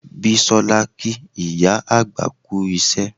Bisola kí ìyá àgbà kú iṣẹ́